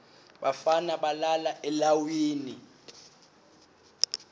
bafana balala eleiwini